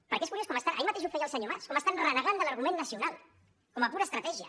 perquè és curiós com ahir mateix ho feia el senyor mas estan renegant de l’argument nacional com a pura estratègia